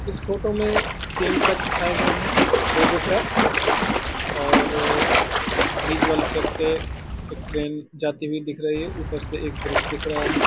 इस फोटो में तीन ट्रैक दिखाए गये हैं। रेलवे ट्रैक और विजुअल ट्रैक से एक ट्रेन जाती हुई दिख रही है। ऊपर से एक ब्रिज दिख रहा है।